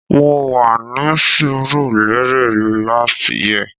Mo wà ní Surulere lasyt year